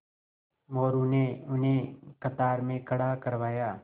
मोरू ने उन्हें कतार में खड़ा करवाया